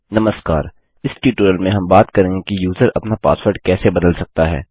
नमस्कार इस ट्यूटोरियल में हम बात करेंगे कि यूज़र अपना पासवर्ड कैसे बदल सकता है